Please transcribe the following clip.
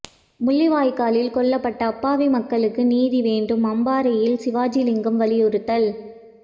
முள்ளிவாய்க்காலில் கொல்லப்பட்ட அப்பாவி மக்களுக்கு நீதி வேண்டும் அம்பாறையில் சிவாஜிலிங்கம் வலியுறுத்தல்